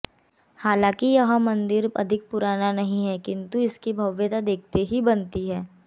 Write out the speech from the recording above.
हालांकि यह मंदिर अधिक पुराना नहीं है किंतु इसकी भव्यता देखते ही बनती है